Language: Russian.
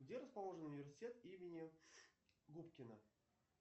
где расположен университет имени губкина